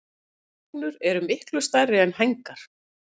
Hrygnur eru miklu stærri er hængar.